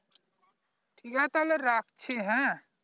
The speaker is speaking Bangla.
ঠিক আছে তাইলে রাখছি হ্যাঁ